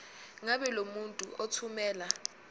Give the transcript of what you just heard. ngabe lomuntu othumela